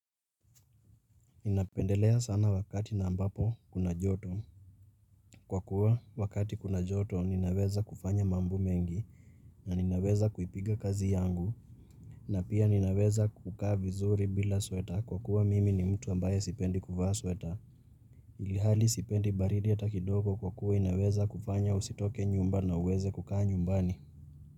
Ninapendelea sana wakati na ambapo kuna joto. Kwa kuwa wakati kuna joto ninaweza kufanya mambo mengi. Na ninaweza kuipiga kazi yangu. Na pia ninaweza kukaa vizuri bila sweta kwa kuwa mimi ni mtu ambaye sipendi kuvaa sweta. Ilhali sipendi baridi ata kidoko kwa kuwa inaweza kufanya usitoke nyumba na uweze kukaa nyumbani.